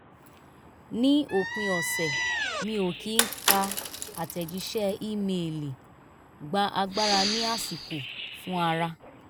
ní òpin ọ̀sẹ̀ mi ò kí ká àtẹ̀jíṣẹ́ ímeèlì gba agbára ní àsìkò fún ara